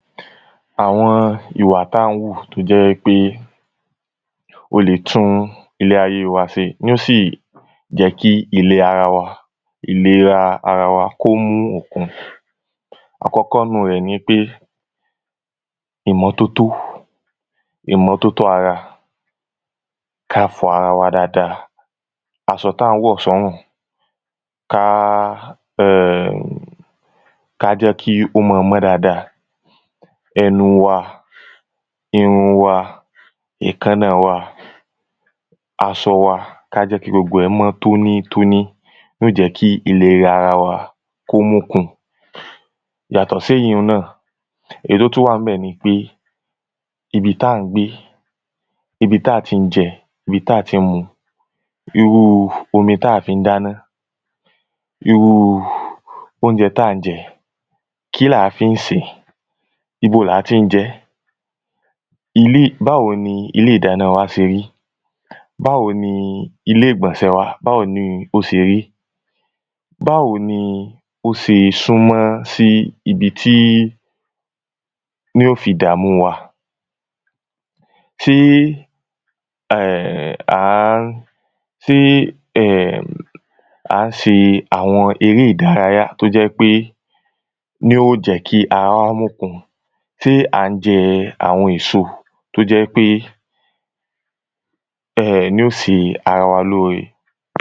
àwọn ìwà tán wù tó jẹ́ wípé ó lé tún ilé ayé wa ṣe ní ò sì jẹ́ kí ìle ara wa ìlera ara wa kí ó mú okun àkọ́kọ́ nínú rẹ̀ ni ípé ìmọ́tótó, ìmọ́tótó ara, ká fọ ara wa dáadáa aṣọ táa ń wọ̀ sọ́rùn ká um ká jẹ́ kí ó máa mọ́ dáadá ẹnu wa, irun wa, èékánna wa, aṣọ wa, ká jẹ́ kí gbogbo ẹ̀ mọ́ tónítóní, ní ó jẹ́ kí ìlera wa kí ó mókun. yàtò séyíhun náà, èyí tó tún wà ńbẹ̀ nipé, ibi tán gbé, ibi táa tí ń jẹ, ibi táa tí ń mu, irú omi táa fi ń dáná irú oúnjẹ táa ńjẹ, kí làá fi ń sèé?, ibo láti ń jẹ ẹ́? ilé, báwo ni ilé ìdáná wa ṣe rí? báwo ni ilé ìgbọ̀nsẹ̀ wa, báwo ni ó ṣe rí báwo ni ó ṣe súnmọ́ sí ibi tí ní ó fi dàmú wa ṣe à ń ṣe àwọn eré ìdárayá tó jẹ́ pé ní ò jẹ́ kí ara wa mókun. ṣe à ń jẹ àwọn èso tó jẹ́ ípé ní ó ṣe ara wa lóóre